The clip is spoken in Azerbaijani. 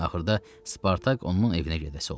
Axırda Spartak onun evinə gedəsi oldu.